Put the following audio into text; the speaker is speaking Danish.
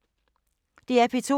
DR P2